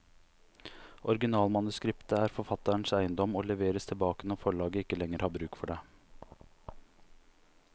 Originalmanuskriptet er forfatterens eiendom, og leveres tilbake når forlaget ikke lenger har bruk for det.